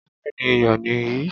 Béèni iyọ̀ nì yìí.